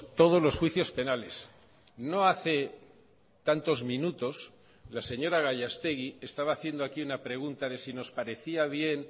todos los juicios penales no hace tantos minutos la señora gallastegui estaba haciendo aquí una pregunta de si nos parecía bien